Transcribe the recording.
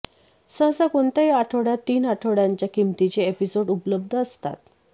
सहसा कोणत्याही आठवड्यात तीन आठवड्यांच्या किमतीचे एपिसोड उपलब्ध असतात